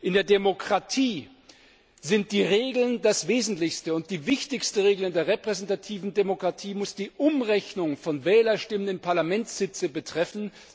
In der Demokratie sind die Regeln das Wesentlichste, und die wichtigste Regel in der repräsentativen Demokratie muss die Umrechnung von Wählerstimmen in Parlamentssitze betreffen.